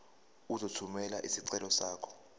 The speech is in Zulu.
uzothumela isicelo sakho